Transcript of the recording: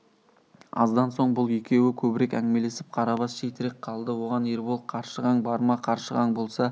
аздан соң бұл екеуі көбірек әңгімелесіп қарабас шетірек қалды оған ербол қаршығаң бар ма қаршығаң болса